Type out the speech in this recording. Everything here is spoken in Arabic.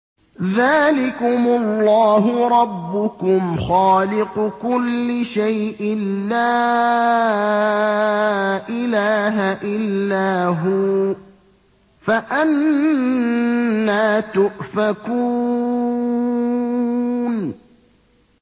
ذَٰلِكُمُ اللَّهُ رَبُّكُمْ خَالِقُ كُلِّ شَيْءٍ لَّا إِلَٰهَ إِلَّا هُوَ ۖ فَأَنَّىٰ تُؤْفَكُونَ